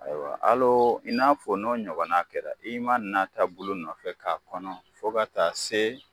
Ayiwa hal'o i n'a fɔ n'o ɲɔgɔna kɛra, n'i ma nata bulu nɔfɛ k'a kɔnɔ fo ka taa se